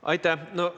Aitäh!